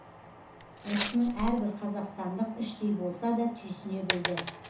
осыны әрбір қазақстандық іштей болса да түйсіне білді